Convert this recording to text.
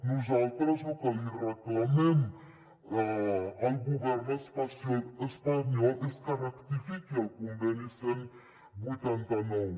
nosaltres lo que li reclamem al govern espanyol és que rectifiqui el conveni cent i vuitanta nou